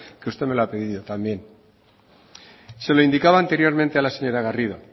que usted me lo ha pedido también se lo indicaba anteriormente a la señora garrido